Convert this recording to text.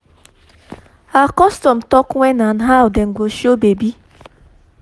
our custom talk wen and how dem go show baby